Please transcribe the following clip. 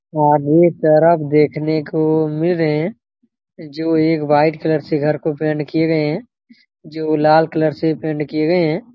वहाँ आदमी तरफ देखने को मिल रहे है जो एक वाइट कलर से घर को पेंट किए गए है जो लाल कलर से पेंट किए गए है।